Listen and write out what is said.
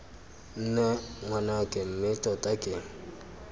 nne ngwanake mme tota ke